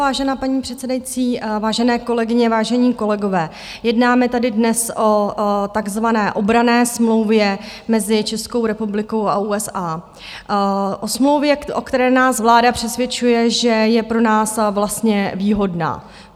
Vážená paní předsedající, vážené kolegyně, vážení kolegové, jednáme tady dnes o takzvané obranné smlouvě mezi Českou republikou a USA, o smlouvě, o které nás vláda přesvědčuje, že je pro nás vlastně výhodná.